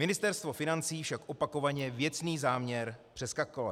Ministerstvo financí však opakovaně věcný záměr přeskakuje.